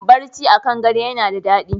Barci a kan gado yana da daɗi.